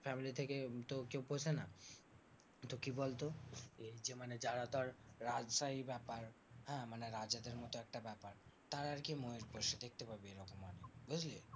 Family থেকে তো কেউ পোষে না। তো কি বলতো? এর যে মানে যারা ধর রাজশাহী ব্যাপার হ্যাঁ মানে রাজাদের মতো একটা ব্যাপার তারা আরকি ময়ূর পোষে। দেখতে পাবি এরকম মানুষ। বুঝলি?